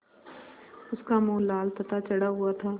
उसका मुँह लाल तथा चढ़ा हुआ था